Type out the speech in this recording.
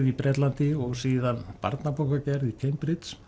í Bretlandi og síðan barnabókagerð í Cambridge